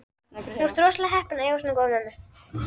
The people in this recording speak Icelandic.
Þú ert rosalega heppinn að eiga svona góða mömmu.